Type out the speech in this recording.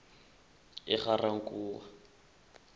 egarankuwa